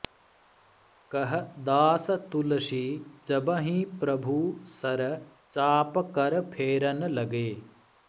कह दास तुलसी जबहिं प्रभु सर चाप कर फेरन लगे